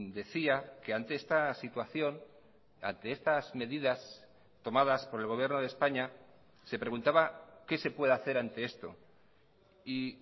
decía que ante esta situación ante estas medidas tomadas por el gobierno de españa se preguntaba qué se puede hacer ante esto y